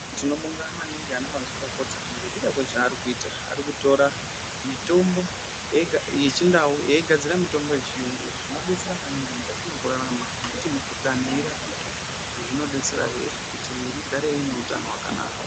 Tinobonga maningi and mazvikokota ngekuda kwezvaari kuita, arikutora mitombo yechindau achogadzira mitombo yechiyungu, izvi zvinodetsera maningi mukati mekurarama nekuti mikuhlani irapike, zvinodetsera kuti miiri igare ine utano hwakanaka.